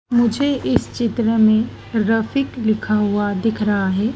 मुझे इस चित्र में रफीक लिखा हुआ दिख रहा है।